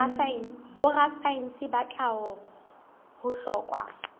borasaense ba tlhaho ho hlokwa